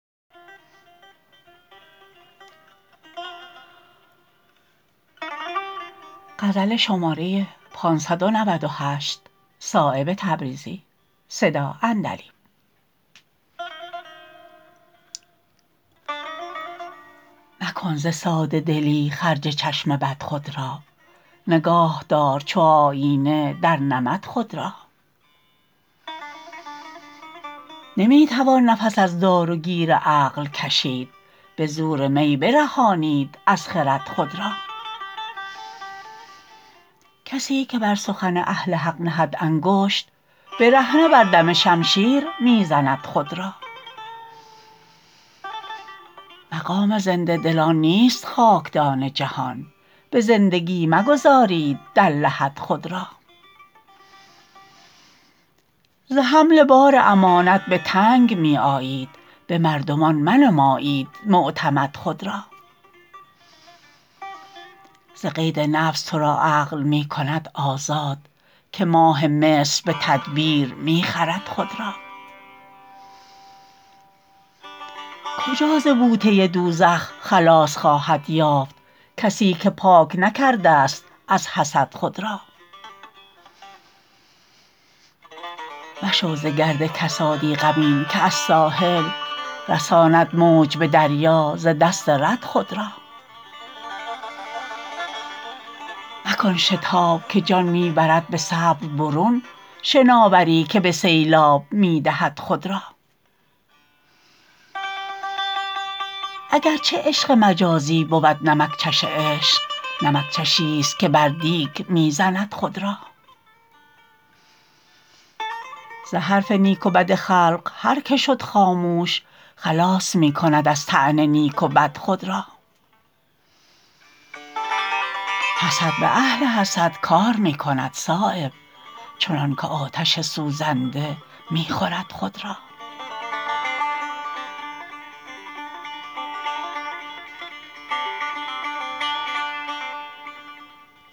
مکن ز ساده دلی خرج چشم بد خود را نگاه دار چو آیینه در نمد خود را نمی توان نفس از دار و گیر عقل کشید به زور می برهانید از خرد خود را کسی که بر سخن اهل حق نهد انگشت برهنه بر دم شمشیر می زند خود را مقام زنده دلان نیست خاکدان جهان به زندگی مگذارید در لحد خود را ز حمل بار امانت به تنگ می آیید به مردمان منمایید معتمد خود را ز قید نفس ترا عقل می کند آزاد که ماه مصر به تدبیر می خرد خود را کجا ز بوته دوزخ خلاص خواهد یافت کسی که پاک نکرده است از حسد خود را مشو ز گرد کسادی غمین که از ساحل رساند موج به دریا ز دست رد خود را مکن شتاب که جان می برد به صبر برون شناوری که به سیلاب می دهد خود را اگر چه عشق مجازی بود نمکچش عشق نمکچشی است که بر دیگ می زند خود را ز حرف نیک و بد خلق هر که شد خاموش خلاص می کند از طعن نیک و بد خود را حسد به اهل حسد کار می کند صایب چنان که آتش سوزنده می خورد خود را